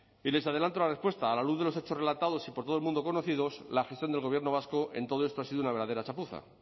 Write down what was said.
y les adelanto la respuesta a la luz de los hechos relatados y por todo el mundo conocidos la gestión del gobierno vasco en todo esto ha sido una verdadera chapuza